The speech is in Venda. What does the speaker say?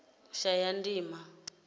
shayandima